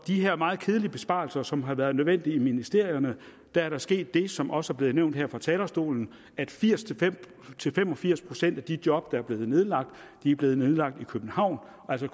de her meget kedelige besparelser som har været nødvendige i ministerierne er der sket det som også er blevet nævnt her fra talerstolen at firs til fem og firs procent af de job der er blevet nedlagt er blevet nedlagt i københavn og der